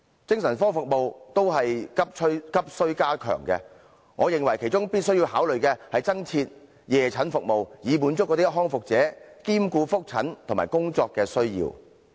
精神科服務也是急需加強的，我認為其中必須考慮增設夜診服務，以滿足康復者兼顧覆診和工作的需要。